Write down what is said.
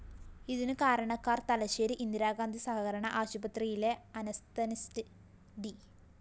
ഇതിന് കാരണക്കാര്‍ തലശ്ശേരി ഇന്ദിരാഗാന്ധി സഹകരണ ആശുപത്രിയിലെ അനസ്തനിസ്റ്റ് ഡി